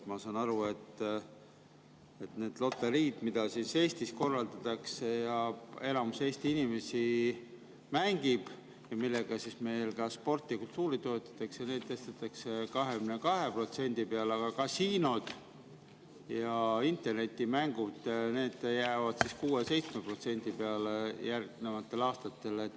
Ma saan aru, et nendel loteriidel, mida Eestis korraldatakse, mida enamus Eesti inimesi mängib ja millega me sporti ja kultuuri toetame, tõstetakse nüüd 22% peale, aga kasiinod ja internetimängud, need jäävad siis järgnevatel aastatel 6% ja 7% peale.